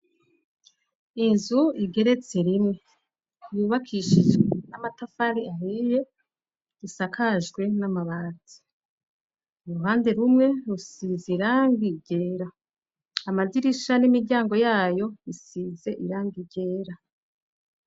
Inzu igeretse rimwe, yubakishijwe n'amatafari ahiye isakajwe n'amabati. Uruhande rumwe rusize irangi ryera. Amadirisha n'imiryango yayo isize irangi ryera.